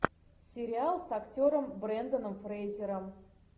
сериал с актером бренданом фрейзером